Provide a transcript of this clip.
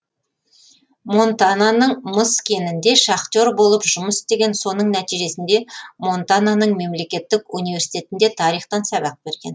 монтананың мыс кенінде шахтер болып жұмыс істеген соның нәтижесінде монтананың мемлекеттік университетінде тарихтан сабақ берген